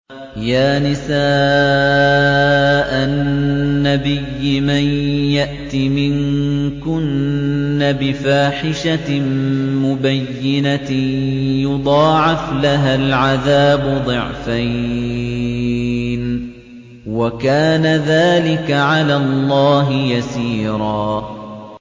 يَا نِسَاءَ النَّبِيِّ مَن يَأْتِ مِنكُنَّ بِفَاحِشَةٍ مُّبَيِّنَةٍ يُضَاعَفْ لَهَا الْعَذَابُ ضِعْفَيْنِ ۚ وَكَانَ ذَٰلِكَ عَلَى اللَّهِ يَسِيرًا